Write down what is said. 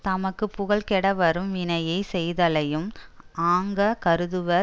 தமக்கு புகழ்கெடவரும் வினையை செய்தலையும் ஆக்கங் கருதுவார்